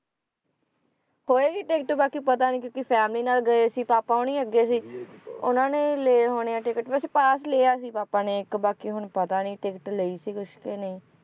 ਹੋਏਗੀ ticket ਬਾਕੀ ਪਤਾ ਨੀ family ਨਾਲ ਗਏ ਸੀ ਪਾਪਾ ਹੋਣੀ ਅੱਗੇ ਸੀ, ਉਹਨਾਂ ਨੇ ਲਏ ਹੋਣੇ ਆ ticket ਵੈਸੇ pass ਲਿਆ ਸੀ ਪਾਪਾ ਨੇ ਇੱਕ ਬਾਕੀ ਹੁਣ ਪਤਾ ਨੀ ticket ਲਈ ਸੀ ਕੁਛ ਕੇ ਨਹੀਂ